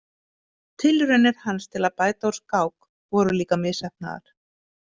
Tilraunir hans til að bæta úr skák voru líka misheppnaðar.